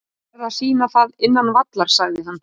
Ég verð að sýna það innan vallar, sagði hann.